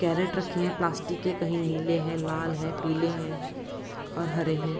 Carrot रखे हैं plastic के कहीं नीले हैं लाल हैं पीले हैं और हरे हैं।